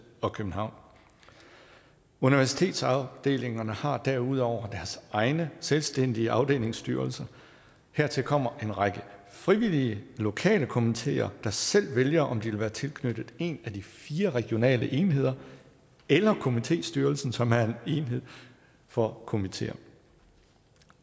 og københavn universitetsafdelingerne har derudover deres egne selvstændige afdelingsstyrelser hertil kommer en række frivillige lokale komiteer der selv vælger om de vil være tilknyttet en af de fire regionale enheder eller komitéstyrelsen som er en enhed for komiteerne